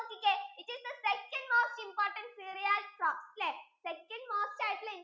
it is the second most important cereal from second most ആയിട്ടുള്ള